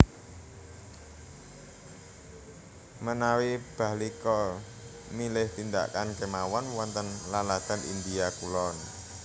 Menawi Bahlika milih tindakan kemawon wonten laladan India kulon